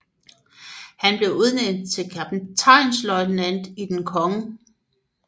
Han blev udnævnt til kaptajnløjtnant i Den kgl